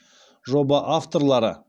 жоба авторлары